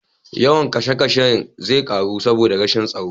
Yawan kishe kashe zai ƙaru saboda rashin tsaro.